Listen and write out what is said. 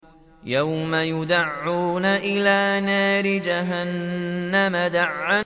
يَوْمَ يُدَعُّونَ إِلَىٰ نَارِ جَهَنَّمَ دَعًّا